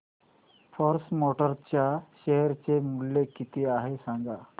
force Motors च्या share चे मूल्य किती आहे सांगा